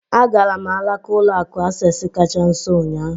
Agara m alaka ụlọ akụ Access kacha nso ụnyahụ.